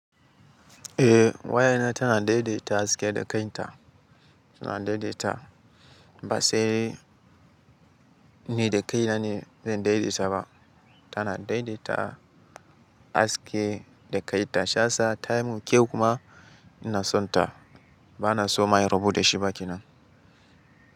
Eh waya na tana daidaita haske da kanta, tana daidaita ba sai ni da kaina ne zan daidaita ba, tana daidaita haske da kanta. Sha sa taimo kyau kuma ina son ta. Ba na so maye rubuta shi ba kinan.